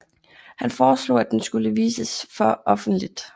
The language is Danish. Han foreslog at den skulle vises for offentligt